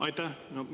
Aitäh!